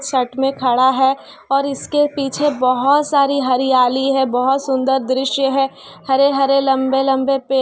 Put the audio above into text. side में खड़ा है और उसके पीछे बहुत सारी हरियाली है बहुत सुंदर दृश्य है हरे- हरे लंबे लंबे पेड़--